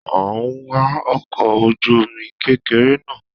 A n wa ọkọ̀ ojú omi kékeré náà